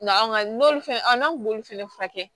Na anw ka n'olu fɛnɛ an kun b'olu fɛnɛ furakɛ